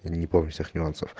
не помню всех нюансов